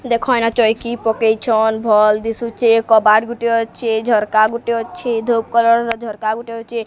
ଦେଖ ଏଇନା ଚୌକି ପକେଇଚନ୍ ଭଲ୍ ଦିଶୁଚେ କବାଟ ଗୋଟିଏ ଅଛି ଝରକା ଅଛି ଧୁପ୍ କଲର୍ ର ଝରକା ଗୋଟେ ଅଛି।